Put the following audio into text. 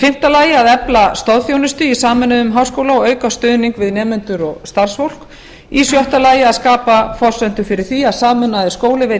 fimmta að efla stoðþjónustu í sameinuðum háskóla og auka stuðning við nemendur og starfsfólk sjötta að skapa forsendur fyrir því að sameinaður skóli veiti